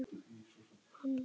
Hann reit